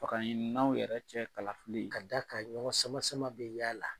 Fanga ɲininaw yɛrɛ cɛ kalafili ka d'a ka ɲɔgɔn sama sama bɛ y'a la.